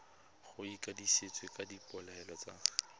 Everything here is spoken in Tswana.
go itsisiwe ka dipoelo tsa